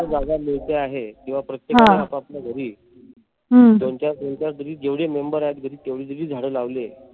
जिथ जागा मिळते आहे. किंवा प्रत्येकानी आपापल्या घरी दोन चार दोन चार जर जेवढे member आहेत घरी तेवढे जरी झाडे लावले.